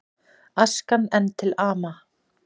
Askan enn til ama